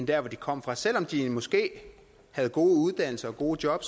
der hvor de kommer fra selv om de måske havde gode uddannelser og gode job